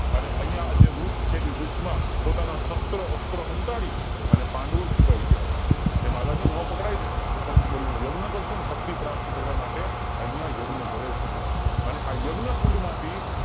અને અહીંયા જે વૃક્ષ જે છે એ વૃક્ષ માં પોતાના શસ્ત્ર અસ્ત્ર સંતાડી પાંડવો છુપાય ગયા હતા કે માતાજી નો પકડાય ને તો પંચબલી નો યજ્ઞ કરશુ અને શક્તિ પ્રાપ્ત કરવા માટે અહીંયા યજ્ઞ કરે છે